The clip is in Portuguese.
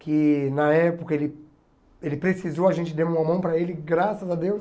Que na época ele ele precisou, a gente deu uma mão para ele, graças a Deus.